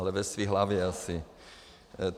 Ale ve své hlavě asi!